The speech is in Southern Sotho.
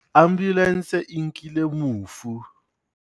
ambulanse e nkile mofu